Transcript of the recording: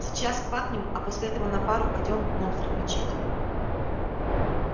сейчас квакнем а после этого на пару пойдём монстров мочить